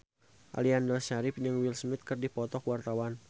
Aliando Syarif jeung Will Smith keur dipoto ku wartawan